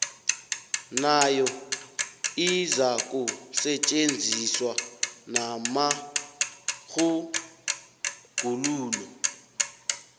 nayo izakusetjenziswa namatjhuguluko